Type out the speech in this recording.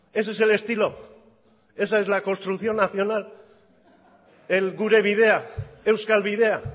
ese es el estilo esa es la construcción nacional el gure bidea euskal bidea